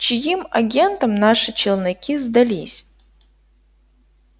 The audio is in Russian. чьим агентам наши челноки сдались